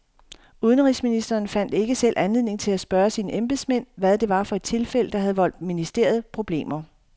Udenrigsministeren fandt ikke selv anledning til at spørge sine embedsmænd, hvad det var for et tilfælde, der havde voldt ministeriet problemer.